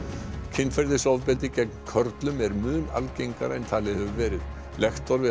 kynferðisofbeldi gegn körlum er mun algengara en talið hefur verið lektor við